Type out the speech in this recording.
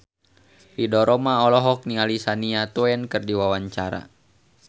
Ridho Roma olohok ningali Shania Twain keur diwawancara